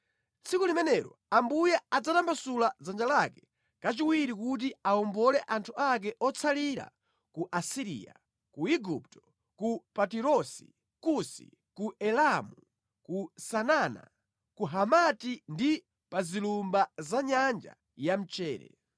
Tsiku limenelo Ambuye adzatambasula dzanja lake kachiwiri kuti awombole anthu ake otsalira ku Asiriya, ku Igupto, ku Patirosi, Kusi, ku Elamu, ku Sinana, ku Hamati ndi pa zilumba za nyanja yamchere.